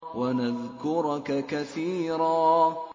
وَنَذْكُرَكَ كَثِيرًا